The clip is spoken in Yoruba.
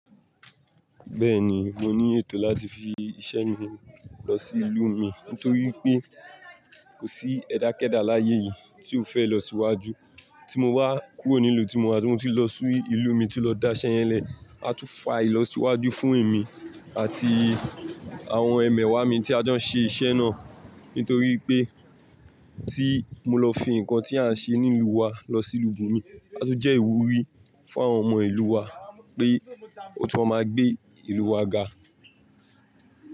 Bẹ́ẹ̀ni, mo ní ètò láti fi iṣẹ́ mi lọ sí ìlú mi nítorí pé kò sí ẹ̀dá kéda láyé yìí tí ó fẹ́ ìlọsíwájú. Tí mo wá kúrò nílùú tí mo wà, ti mo ti lọ sí ìlú mi tun lọ dá iṣẹ́ yẹn lẹ̀, a tún fa ìlọsíwájú fún èmi àti àwọn ẹmẹ̀wà mi tí a jọ ń ṣe iṣẹ́ náà. Nítorí pé tí mo lọ fi nǹkan tí à ń ṣe nílùú wa lọ sí ìlú bomi, a tun jẹ́ ìwúrí fún àwọn ọmọ ìlú wa pé ó tún máa gbé ìlú wa ga.